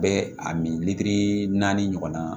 Bɛ a min naani ɲɔgɔnna